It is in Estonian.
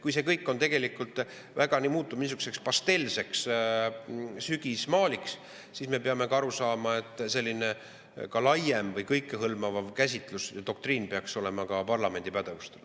Kui see kõik tegelikult muutub niisuguseks pastelseks sügismaaliks, siis me peame aru saama, et selline laiem, kõikehõlmav käsitlus või doktriin peaks olema ka parlamendi pädevuses.